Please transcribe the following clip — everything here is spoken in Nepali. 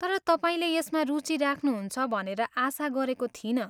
तर तपाईँले यसमा रुचि राख्नुहुन्छ भनेर आशा गरेको थिइनँ।